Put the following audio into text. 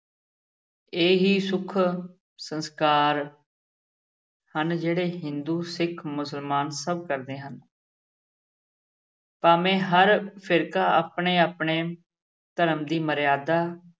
ਇਹ ਹੀ ਸੁੱਖ ਸੰਸਕਾਰ ਹਨ ਜਿਹੜੇ ਹਿੰਦੂ, ਸਿੱਖ, ਮੁਸਲਮਾਨ ਸਭ ਕਰਦੇ ਹਨ ਭਾਵੇਂ ਹਰ ਫ਼ਿਰਕਾ ਆਪਣੇ-ਆਪਣੇ ਧਰਮ ਦੀ ਮਰਯਾਦਾ